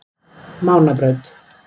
Mánabraut